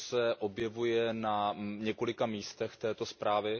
To se objevuje na několika místech této zprávy.